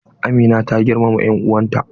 Amina na girmama en'uwan ta?